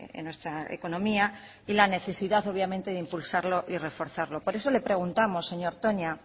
en nuestra economía y la necesidad obviamente de impulsarlo y reforzarlo por eso le preguntamos señor toña